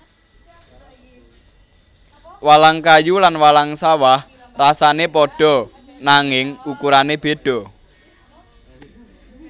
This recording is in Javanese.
Walang kayu lan walang sawah rasané pada nanging ukurané beda